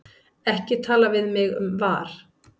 Ekki tala við mig um VAR.